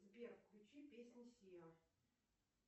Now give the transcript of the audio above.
сбер включи песни сиа